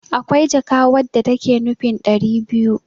akwai jaka wadda take nufin dari biyu